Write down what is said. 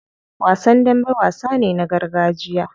Wasan dambe wasa ne na gargajiya.